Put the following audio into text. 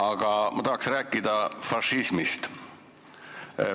Aga ma tahan rääkida fašismist.